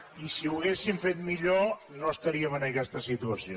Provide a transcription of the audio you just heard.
i si ho haguessin fet millor no estaríem en aquesta situació